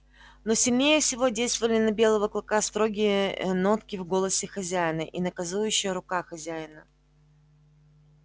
но сильнее всего действовали на белого клыка строгие нотки в голосе хозяина и наказывающая рука хозяина